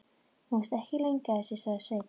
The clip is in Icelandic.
Þú varst ekki lengi að þessu, sagði Sveinn.